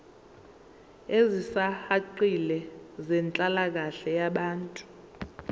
ezisihaqile zenhlalakahle yabantu